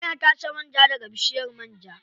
Ana tace man ja daga bishiyar man ja.